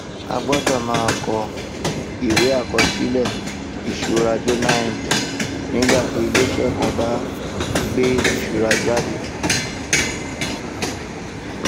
a gbọdọ máa kọ ìwé àkọsílẹ ìṣura journal entry nígbàtí iléiṣẹ kàn bá gbé ìṣura jáde